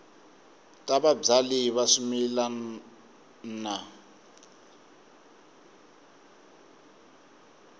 ta vabyali va swimila wa